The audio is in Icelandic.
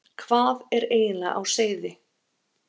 Hvað er eiginlega á seyði?